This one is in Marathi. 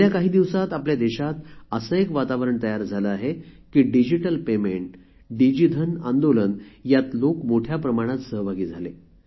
गेल्या काही दिवसात आपल्या देशात असे एक वातावरण तयार झाले आहे की डिजिटल पेमेंट डिजिधन आंदोलन यात लोक मोठ्या प्रमाणात सहभागी झाले